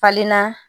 Falenna